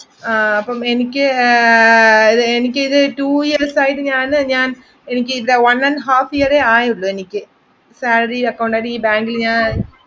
ആഹ് അപ്പൊ എനിക്ക് ഏർ ഇത് two years ആയിട്ട് ഞാൻ ഞാൻഎനിക്ക് ഇത്ര one and half year ആയതൊള്ളൂ എനിക്ക് salary അക്കൗണ്ടായിട്ട് ഈ ബാങ്കിൽ ഞാൻ